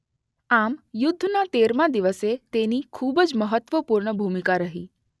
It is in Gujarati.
આમ યુદ્ધના તેરમા દિવસે તેની ખૂબ જ મહત્વપૂર્ણ ભૂમિકા રહી.